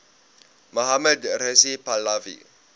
mohammad reza pahlavi